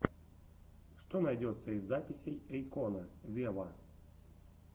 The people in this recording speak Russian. что найдется из записей эйкона вево